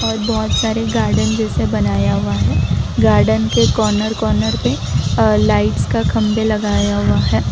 और बहुत सारे गार्डन जैसे बनाया हुआ है गार्डन के कॉर्नर कॉर्नर पे लाइट्स का खंभे लगाया हुआ है।